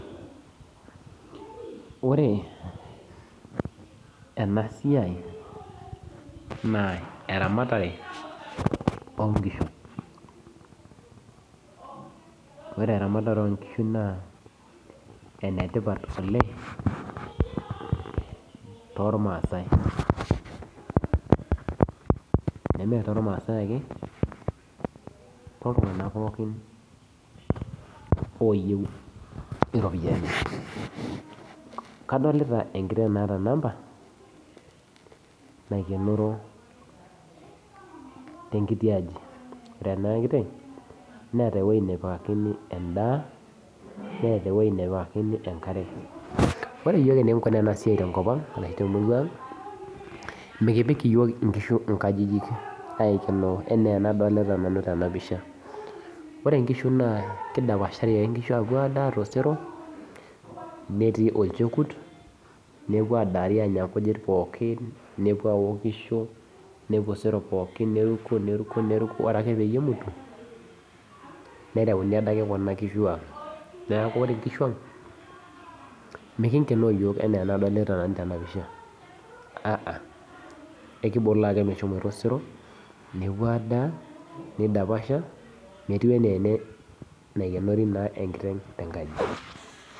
Ore enasiai, naa eramatare onkishu. Ore eramatare onkishu naa enetipat oleng tormaasai. Neme tormaasai ake toltung'anak pookin oyieu iropiyiani. Kadolita enkiteng' naata namba, naikenoro tenkiti aji. Ore ena kiteng',neeta ewoi nepikakini endaa, neeta ewoi nepikakini enkare. Ore yiok enikinkunaa enasiai tenkop ang' arashu temurua ang', mikipik yiok inkishu inkajijik aikenoo enaa enadolita nanu tenapisha. Ore nkishu naa kidapashari ake nkishu apuo adaa tosero, netii olchekut, nepuo adari anya nkujit pookin nepuo aokisho, nepuo osero pookin neruko neruko neruko, ore ake pemutu, nereuni adake kuna kishu ang'. Neeku ore nkishu ang', mikingenoo yiok enaa enadolita nanu tenapisha, aa. Ekiboloo ake meshomoita osero, nepuo adaa, nidapasha, metiu enaa ene naikenori naa enkiteng' tenkaji.